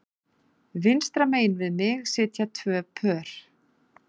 Vinstra megin við mig sitja tvö pör